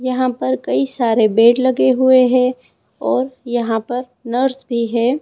यहां पर कई सारे बेड लगे हुए हैं और यहां पर नर्स भी है।